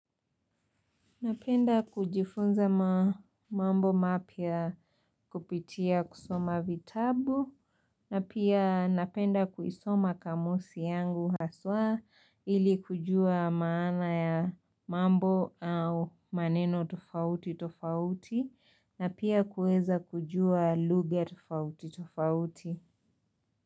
Napenda kujifunza mambo mapia kupitia kusoma vitabu na pia napenda kuisoma kamusi yangu haswa ili kujua maana ya mambo au maneno tofauti tofauti na pia kueza kujua luga tofauti tofauti.